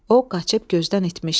O qaçıb gözdən itmişdi.